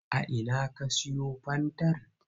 A ina ka siyo fankar?